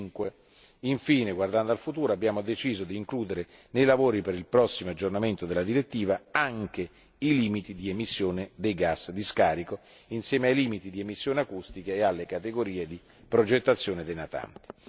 5. Infine, guardando al futuro, abbiamo deciso di includere nei lavori per il prossimo aggiornamento della direttiva anche i limiti di emissione dei gas di scarico insieme ai limiti di emissione acustica e alle categorie di progettazione dei natanti.